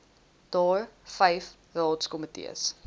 daar vyf raadskomitees